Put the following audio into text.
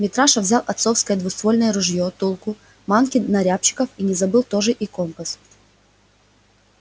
митраша взял отцовское двуствольное ружье тулку манки на рябчиков и не забыл тоже и компас